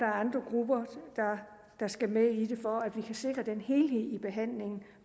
andre grupper der skal med i det for at vi kan sikre en helhed i behandlingen